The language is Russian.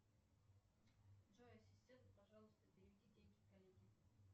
джой ассистент пожалуйста переведи деньги коллеге